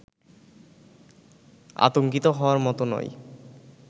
আতংকিত হওয়ার মত নয়